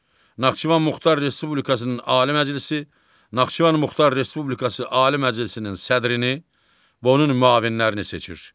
Naxçıvan Muxtar Respublikasının Ali Məclisi Naxçıvan Muxtar Respublikası Ali Məclisinin sədrini və onun müavinlərini seçir.